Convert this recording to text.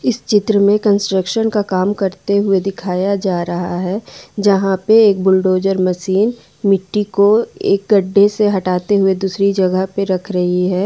इस चित्र में कंस्ट्रक्शन का काम करते हुए दिखाया जा रहा है जहां पे एक बुलडोजर मशीन मिट्टी को एक गड्ढे से हटाते हुए दूसरी जगह पर रख रही है।